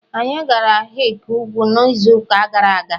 anyị gara hick ugwu n'izu ụka gara aga